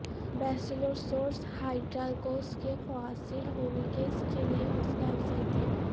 Basilosaurus Hydrarchos کے fossils hoax کے لئے حوصلہ افزائی تھی